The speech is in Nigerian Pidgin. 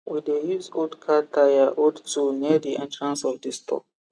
we dey use old car tyre hold tool near the entrance of the store